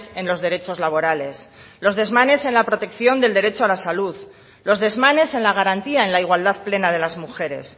en los derechos laborales los desmanes en la protección del derecho a la salud los desmanes en la garantía en la igualdad plena de las mujeres